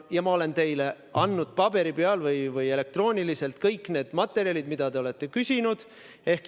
Ma olen teile andnud paberi peal või elektrooniliselt kõik need materjalid, mida te olete küsinud.